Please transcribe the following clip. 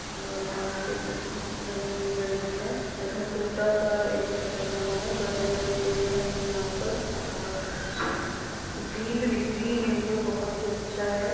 घास के पीछे बनी हुई बिल्डिंग है इधर टूटा सा एक घर बना हुआ है बड़े-बड़े पेड़ है यहाँं पर और ग्रीनरी ग्रीन एरिआ बहुत ही अच्छा है।